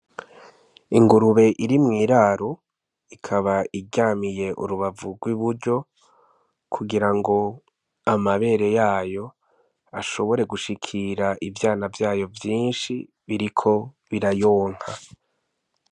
Ingurube iri mw'iraro ikaba iryamiye urubavu rw'i buryo kugira ngo amabere yayo ashobore gushikira ivyana vyayo vyinshi biriko birayonka.